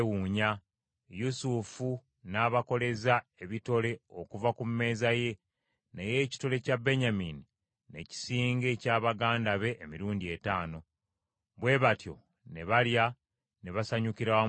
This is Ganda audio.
Yusufu n’abakoleza ebitole okuva ku mmeeza ye, naye ekitole kya Benyamini ne kisinga ekya baganda be emirundi etaano. Bwe batyo ne balya ne basanyukira wamu ne Yusufu.